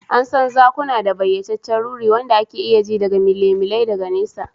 An san zakuna da bayyaceccen ruri, wanda ake iya ji daga milimilai daga nesa.